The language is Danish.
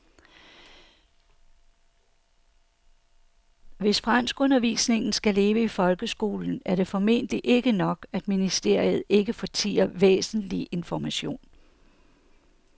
Hvis franskundervisningen skal leve i folkeskolen er det formentlig ikke nok, at ministeriet ikke fortier væsentlig information.